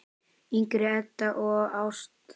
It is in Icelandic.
yngri Ebba og Ástþór.